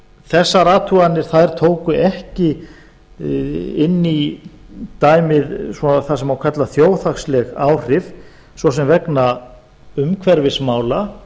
þessar athuganir tóku ekki inn í dæmið það sem má kalla þjóðhagsleg áhrif svo sem vegna umhverfismála